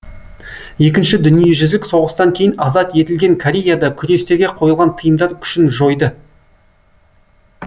екінші дүниежүзілік соғыстан кейін азат етілген кореяда күрестерге қойылған тыйымдар күшін жойды